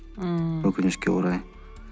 ммм өкінішке орай